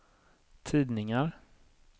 tidningar